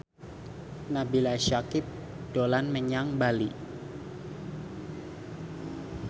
Nabila Syakieb dolan menyang Bali